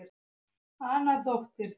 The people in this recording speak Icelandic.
Anna dóttir